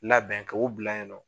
Labɛn ka o bila yen nɔ.